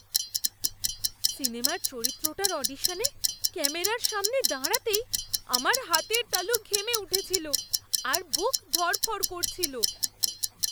সিনেমার চরিত্রটার অডিশনে ক্যামেরার সামনে দাঁড়াতেই আমার হাতের তালু ঘেমে উঠেছিল আর বুক ধড়ফড় করছিল।